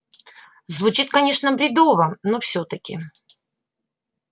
звучит конечно бредово но всё-таки